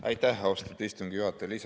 Aitäh, austatud istungi juhataja!